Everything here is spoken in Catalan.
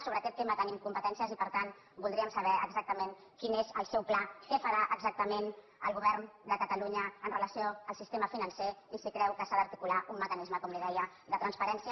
sobre aquest tema tenim competències i per tant voldríem saber exactament quin és el seu pla què farà exactament el govern de catalunya amb relació al sistema financer i si creu que s’ha d’articular un mecanisme com li deia de transparència